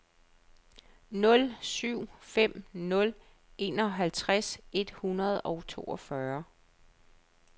nul syv fem nul enoghalvtreds et hundrede og toogfyrre